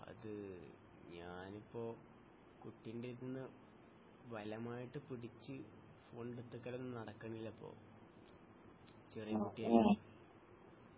അത് ഞാനിപ്പോ കുട്ടിൻ്റെ അടുത്തുനിന്ന് ഭലമായിട്ട് പിടിച്ച് ഫോൺ എടുത്തുവെക്കലൊന്നും നടക്കുന്നില്ല ഇപ്പൊ ചെറിയകുട്ടി അല്ലെ